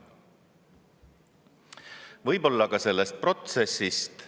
võib-olla ka sellest protsessist.